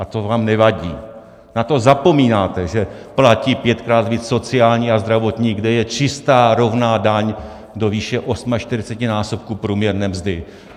A to vám nevadí, na to zapomínáte, že platí pětkrát víc sociální a zdravotní, kde je čistá rovná daň do výše 48násobku průměrné mzdy.